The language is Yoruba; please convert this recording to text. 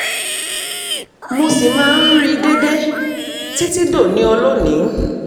mo ṣì máa ń rí i déédéé títí dòní olónìí